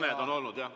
Mõned on olnud jah.